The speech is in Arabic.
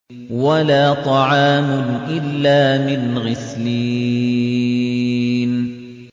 وَلَا طَعَامٌ إِلَّا مِنْ غِسْلِينٍ